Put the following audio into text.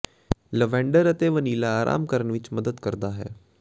lavender ਅਤੇ vanilla ਆਰਾਮ ਕਰਨ ਵਿਚ ਮਦਦ ਕਰਦਾ ਹੈ